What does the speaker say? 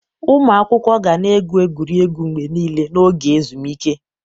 Ụmụ akwụkwọ ga na-egwu egwuregwu mgbe niile n'oge ezumike